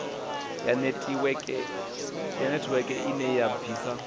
ya netiweke ine ya bvisa